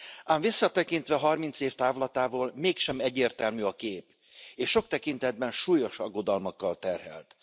Ám visszatekintve 30 év távlatából, mégsem egyértelmű a kép, és sok tekintetben súlyos aggodalmakkal terhelt.